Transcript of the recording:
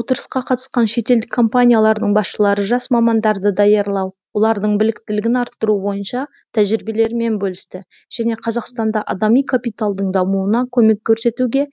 отырысқа қатысқан шетелдік компаниялардың басшылары жас мамандарды даярлау олардың біліктілігін арттыру бойынша тәжірибелерімен бөлісті және қазақстанда адами капиталдың дамуына көмек көрсетуге